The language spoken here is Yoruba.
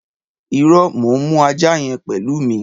Ìrõ, mò n mu àjá yen pelu mi